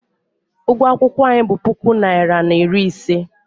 Ụgwọ akwụkwọ anyị bụ puku naịra na iri ise.